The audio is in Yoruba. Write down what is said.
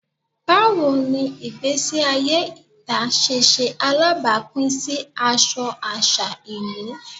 Bawo ni igbesi aye ita ṣe ṣe alabapin si aṣọ aṣa ilu?